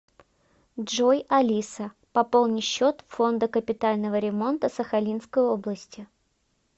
джой алиса пополни счет фонда капитального ремонта сахалинской области